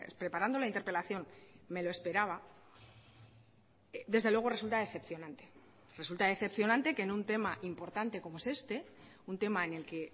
preparando la interpelación me lo esperaba desde luego resulta decepcionante resulta decepcionante que en un tema importante como es este un tema en el que